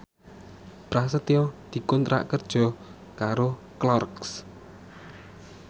Prasetyo dikontrak kerja karo Clarks